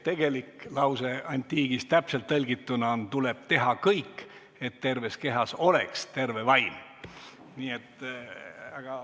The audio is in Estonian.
Tegelik antiikajast pärit lause täpselt tõlgituna on: "Tuleb teha kõik, et terves kehas oleks terve vaim!